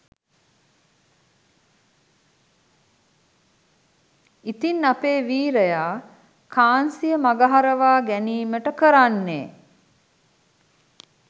ඉතින් අපේ වීරයා කාන්සිය මගහරවා ගැනීමට කරන්නේ